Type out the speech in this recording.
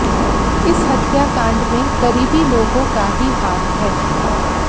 इस हत्याकांड में करीबी लोगों का ही हाथ है